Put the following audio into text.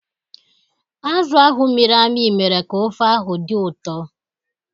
Azụ ahụ mịrị amị mere ka ofe ahụ dị ụtọ.